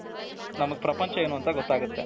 ನಮಗೆ ಪ್ರಪಂಚ ಏನು ಅಂತ ಗೊತ್ತಾಗುತ್ತೆ,